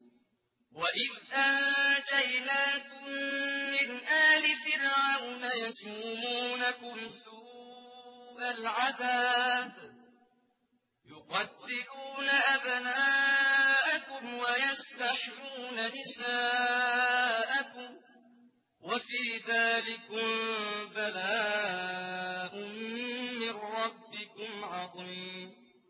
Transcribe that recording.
وَإِذْ أَنجَيْنَاكُم مِّنْ آلِ فِرْعَوْنَ يَسُومُونَكُمْ سُوءَ الْعَذَابِ ۖ يُقَتِّلُونَ أَبْنَاءَكُمْ وَيَسْتَحْيُونَ نِسَاءَكُمْ ۚ وَفِي ذَٰلِكُم بَلَاءٌ مِّن رَّبِّكُمْ عَظِيمٌ